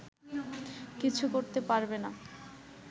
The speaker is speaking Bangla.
কিছু করতে পারবে না